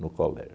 no colégio.